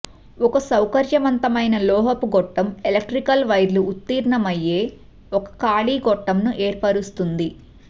ఒక సౌకర్యవంతమైన లోహపు గొట్టం ఎలక్ట్రికల్ వైర్లు ఉత్తీర్ణమయ్యే ఒక ఖాళీ గొట్టంను ఏర్పరుస్తుంది